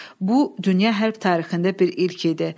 Bu, dünya hərb tarixində bir ilk idi.